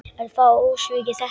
Er það ósvikið þetta?